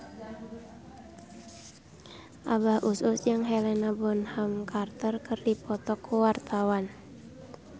Abah Us Us jeung Helena Bonham Carter keur dipoto ku wartawan